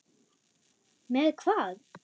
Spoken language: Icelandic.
Með hvað?